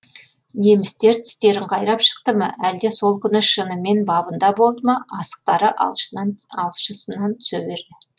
немістер тістерін қайрап шықты ма әлде сол күні шынымен бабында болды ма асықтары алшысынан түсе берді